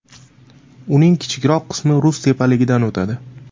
Uning kichikroq qismi Rus tepaligidan o‘tadi.